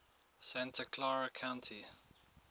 santa clara county